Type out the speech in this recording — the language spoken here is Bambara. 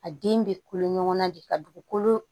A den bɛ kolo ɲɔgɔnna de ka dugukolo